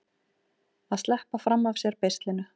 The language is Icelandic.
Að sleppa fram af sér beislinu